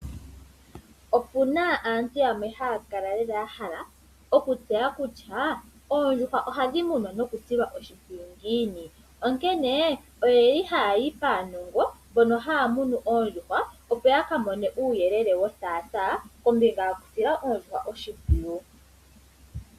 Opuna aanhu yamwe haya kala lela ya hala okutseya kutya oondjuhwa oondjuhwa ohadhi munwa noku silwa oshimpwiyu ngiini? Onkene ohaya yi paanongo mbono haya munu oondjuhwa opo ya ka mone uuyelele wo thaatha kombinga yokusila oondjuhwa oshimpwiyu.